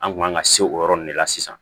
An kun man ka se o yɔrɔ nin de la sisan